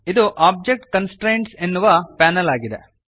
ಇದು object constraints ಎನ್ನುವ panel ಆಗಿದೆ